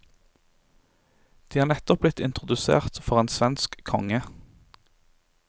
De er nettopp blitt introdusert for en svensk konge.